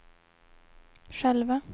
själva